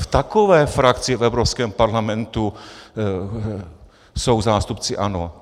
V takové frakci v Evropském parlamentu jsou zástupci ANO!